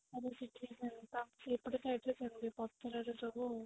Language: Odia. ସେପଟ side ରେ ସେମିତି ପଥରରେ ସବୁ